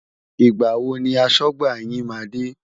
Ìgbà wo ni aṣọ́gbà yín máa dé?